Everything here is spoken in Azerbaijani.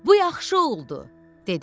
Bu yaxşı oldu, dedi.